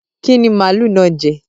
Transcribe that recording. Kí ni màlúù náà jẹ?